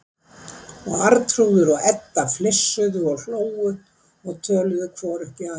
Og Arnþrúður og Edda flissuðu og hlógu og töluðu hvor upp í aðra.